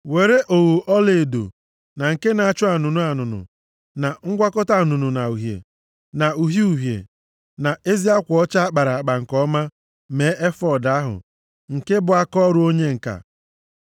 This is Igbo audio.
“Weere ogho ọlaedo, na nke na-acha anụnụ anụnụ, na ngwakọta anụnụ na uhie, na uhie uhie na ezi akwa ọcha a kpara nke ọma mee efọọd ahụ, nke bụ akaọrụ onye ǹka.